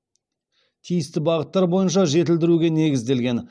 тиісті бағыттар бойынша жетілдіруге негізделген